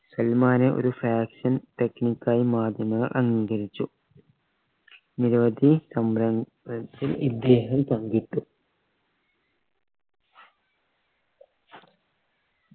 സൽമാനെ ഒരു fashion technique ആയി മാധ്യമങ്ങൾ അംഗീകരിച്ചു നിരവധി സംരംഭ ത്തിൽ ഇദ്ദേഹം പങ്കിട്ടു